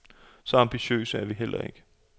Så ambitiøse er vi ikke.